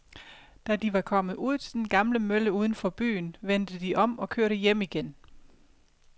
Da de var kommet ud til den gamle mølle uden for byen, vendte de om og kørte hjem igen.